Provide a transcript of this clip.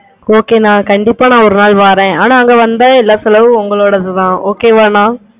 okay கண்டிப்பா நான் ஒரு நசல் வாறன். ஆனா தங்க வந்த எல்லா செலவும் உங்களோடது okay வானா